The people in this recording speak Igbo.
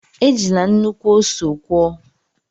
Ejila nnukwu ọsọ kwọọ!